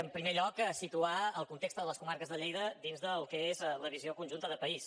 en primer lloc situar el context de les comarques de lleida dins del que és la visió conjunta de país